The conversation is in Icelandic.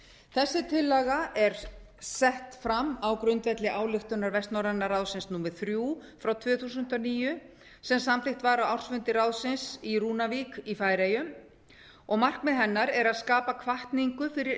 þessi tillaga er sett fram á grundvelli ályktunar vestnorræna ráðsins númer þrjú tvö þúsund og níu sem samþykkt var á ársfundi ráðsins í rúnavík í færeyjum og markmið hennar er að skapa hvatningu fyrir